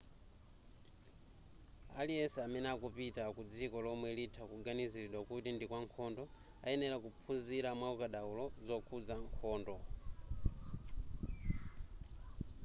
aliyense amene akupita kudziko lomwe litha kuganiziridwa kuti ndikwa nkhondo ayenera kuphunzira mwa ukadaulo zokhuza nkhondo